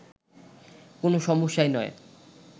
কোন সমস্যাই নয়